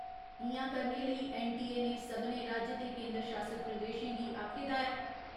इ'यां करने लेई ऐन्न.टी.ए. ने सभनें राज्य ते केन्दर शासत प्रदेशें गी आक्खे दा ऐ।